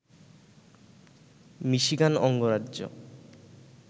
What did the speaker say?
Michigan অঙ্গরাজ্য